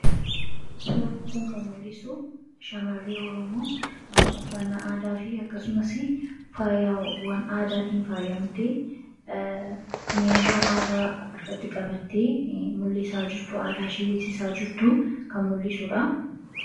Suurri kun kan mul'isu shamarree oromoo uffannaa aadaa fi faayaa aadaatiin faayamtee meeshaa aadaa harkatti qabattee mul'isaa jirtu kan aadaashee mul'isaa jirtu argina.